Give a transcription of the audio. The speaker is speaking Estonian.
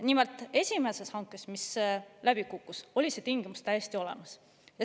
Nimelt, esimeses hankes, mis läbi kukkus, oli see tingimus täiesti olemas.